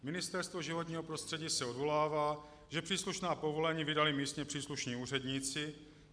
Ministerstvo životního prostředí se odvolává, že příslušná povolení vydali místně příslušní úředníci.